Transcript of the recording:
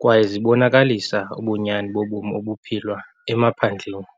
kwaye zibonakalisa ubunyani bobomi obuphilwa emaphandleni.